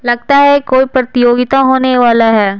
लगता है कोई प्रतियोगिता होने वाला है।